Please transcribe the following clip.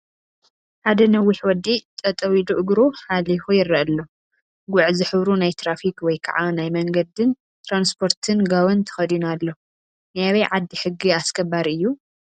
ሓደ ነዊሕ ወዲ ጠጠው ኢሉ እግሩ ሓሊኹ ይረአ ኣሎ፡፡ ጉዕ ዝሕብሩ ናይ ትራፊክ ወይ ከዓ ናይ መንገድን ትራንስፖርትን ጋዎን ተኺዱ ኣሎ፡፡ ናይ ኣበይ ዓዲ ሕጊ ኣስከባሪ እዩ?